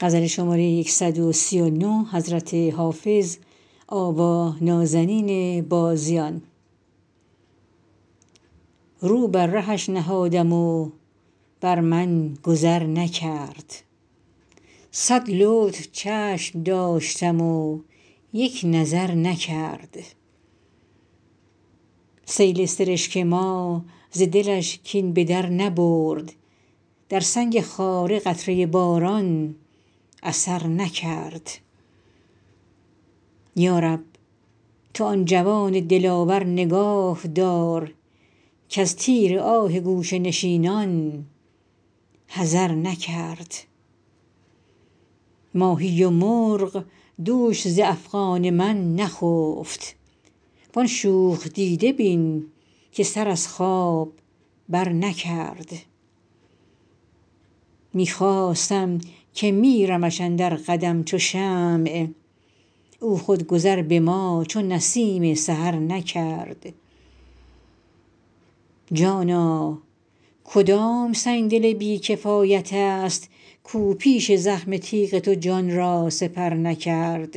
رو بر رهش نهادم و بر من گذر نکرد صد لطف چشم داشتم و یک نظر نکرد سیل سرشک ما ز دلش کین به در نبرد در سنگ خاره قطره باران اثر نکرد یا رب تو آن جوان دلاور نگاه دار کز تیر آه گوشه نشینان حذر نکرد ماهی و مرغ دوش ز افغان من نخفت وان شوخ دیده بین که سر از خواب برنکرد می خواستم که میرمش اندر قدم چو شمع او خود گذر به ما چو نسیم سحر نکرد جانا کدام سنگدل بی کفایت است کاو پیش زخم تیغ تو جان را سپر نکرد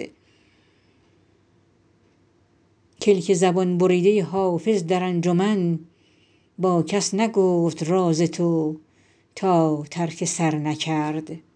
کلک زبان بریده حافظ در انجمن با کس نگفت راز تو تا ترک سر نکرد